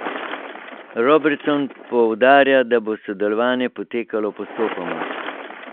Robertson poudarja, da bo sodelovanje potekalo postopoma.